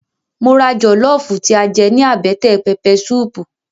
Mo ra jọlọfu tí a jẹ ní àbẹ́tẹ̀ pẹpẹ suupu